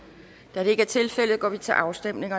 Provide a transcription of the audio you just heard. da det ikke er tilfældet går vi til afstemning